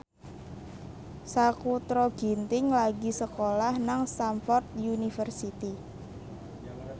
Sakutra Ginting lagi sekolah nang Stamford University